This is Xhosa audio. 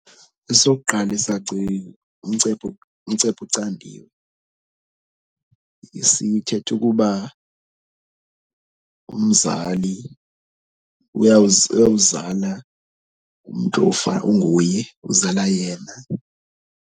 Esokuqala isaci ngumcephe ngumcephe ucandiwe. Sithetha ukuba umzali uyawuzala umntu onguye, uzala yena.